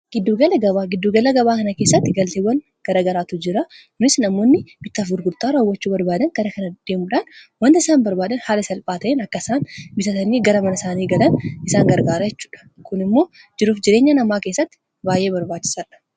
Gidduugalli gabaa faayidaa madaalamuu hin dandeenye fi bakka bu’iinsa hin qabne qaba. Jireenya guyyaa guyyaa keessatti ta’ee, karoora yeroo dheeraa milkeessuu keessatti gahee olaanaa taphata. Faayidaan isaa kallattii tokko qofaan osoo hin taane, karaalee garaa garaatiin ibsamuu danda'a.